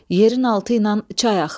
Yerin altı ilə çay axır.